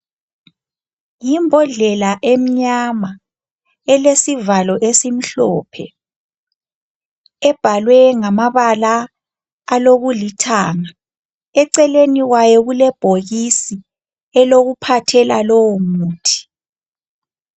Yimbodlela emnyama, elesivalo esimhlophe ebhalwe ngamabala alokulithanga. Eceleni kwayo kulebhokisi elokuphathela lowomuthi.